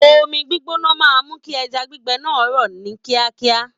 Omi gbígbóná máa mú kí ẹja gbígbẹ náà rọ̀ ní kíákíá.